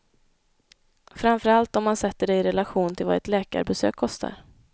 Framför allt om man sätter det i relation till vad ett läkarbesök kostar.